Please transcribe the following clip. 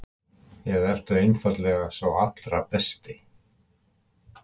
Eða ertu einfaldlega sá allra besti?